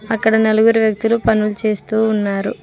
అక్కడ నలుగురు వ్యక్తులు పనులు చేస్తూ ఉన్నారు.